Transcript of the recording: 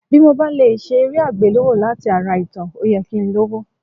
Bí mo bá lè ṣe eré àgbéléwò láti ara ìtàn, ó yẹ kí n lówó.